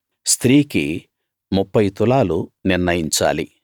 స్త్రీకి ముప్ఫై తులాలు నిర్ణయించాలి